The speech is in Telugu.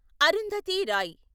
అరుంధతి రాయ్